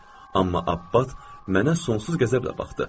Amma Abbas mənə sonsuz qəzəblə baxdı.